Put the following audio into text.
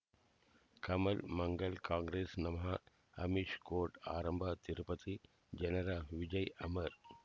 ಕಮಲ್ ಮಂಗಳ್ ಕಾಂಗ್ರೆಸ್ ನಮಃ ಅಮಿಷ್ ಕೋರ್ಟ್ ಆರಂಭ ತಿರುಪತಿ ಜನರ ವಿಜಯ ಅಮರ್